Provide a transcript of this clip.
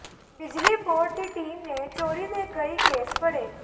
ਬਿਜਲੀ ਬੋਰਡ ਦੀ ਟੀਮ ਨੇ ਚੋਰੀ ਦੇ ਕਈ ਕੇਸ ਫੜੇ